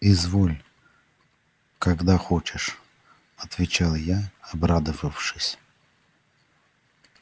изволь когда хочешь отвечал я обрадовавшись